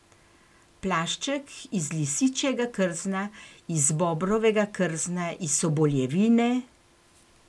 Plašček iz lisičjega krzna, iz bobrovega krzna, iz soboljevine ...